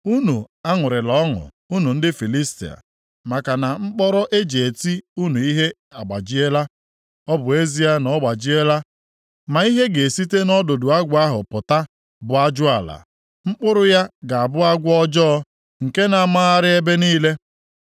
Unu aṅụrịla ọṅụ, unu ndị Filistia, maka na mkpọrọ e ji eti unu ihe agbajiela; Ọ bụ ezie na ọ gbajiela, ma ihe ga-esite nʼọdụdụ agwọ ahụ pụta bụ ajụala, mkpụrụ ya ga-abụ agwọ ọjọọ, nke na-amagharị ebe niile.